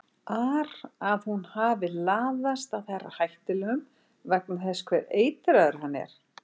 ar að hún hafi laðast að herra Hættulegum vegna þess hve eitraður hann er.